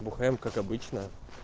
бухаем как обычно